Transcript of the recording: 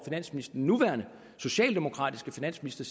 den nuværende socialdemokratiske finansminister